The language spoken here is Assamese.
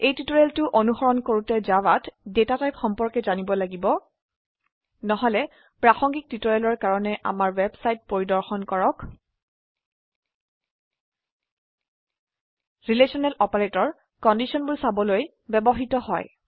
এই টিউটোৰিয়েলটো অনুসৰণ কৰুতে জাভাত ডেটা টাইপ সম্পৰ্কে জানিব লাগিব নহলে প্ৰাসঙ্গিক টিউটোৰিয়েলৰ কাৰনে আমাৰ ওয়েবসাইট পৰিদৰ্শন কৰক ৰিলেশনেল অপাৰেটৰ কন্ডিশনবোৰ চাবলৈ ব্যবহৃত হয়